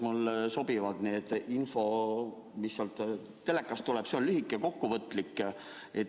Mulle sobib see info, mis telekast tuleb, see on lühike ja kokkuvõtlik.